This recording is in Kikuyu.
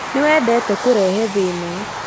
nĩ wendete kũrehe thĩna